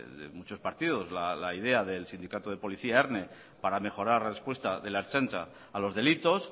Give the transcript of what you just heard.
de muchos partidos la idea del sindicato del policía erne para mejorar respuesta de la ertzaintza a los delitos